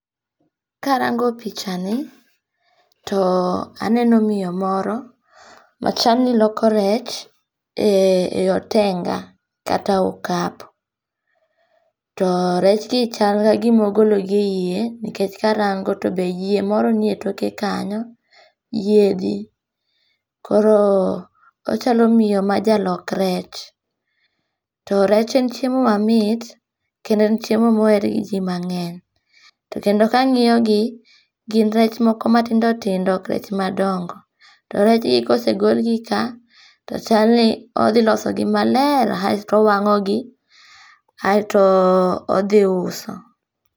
Karongo pichani to aneno miyo moro machalni loko rech, ee yo tenga' kata okapu to kechgi kalma kagima ogologi e yie nikech nikech karango to be yie moro nie toke kanyo, yiethi koro ochalo miyo ma jalok rech to rech en chiemo mamit kendo en chiemo ma oher gi ji mange'ny to kendo angi'yogi gin rech moko matindo tindo ok rech madongo to rechngi ka osegolgi ka to wasto owangogi aeto othiuso.